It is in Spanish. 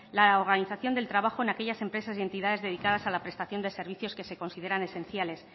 la organización del trabajo en aquellas empresas y entidades dedicadas a la prestación de servicios que se consideran esenciales